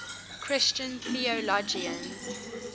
christian theologians